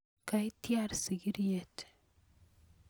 kaitiar sikiriet